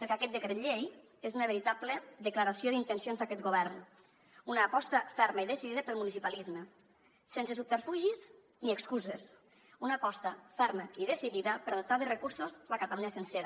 perquè aquest decret llei és una veritable declaració d’intencions d’aquest govern una aposta ferma i decidida pel municipalisme sense subterfugis ni excuses una aposta ferma i decidida per dotar de recursos la catalunya sencera